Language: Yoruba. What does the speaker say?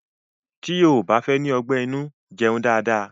Tí o ò bá fẹ́ ní ọgbẹ́ inú jẹun dáadáa.